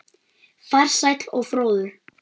Farsæll og fróður.